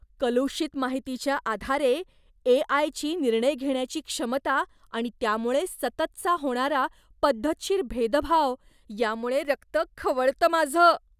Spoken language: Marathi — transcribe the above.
कलुषित माहितीच्या आधारे ए. आय.ची निर्णय घेण्याची क्षमता आणि त्यामुळे सततचा होणारा पद्धतशीर भेदभाव यामुळे रक्त खवळतं माझं.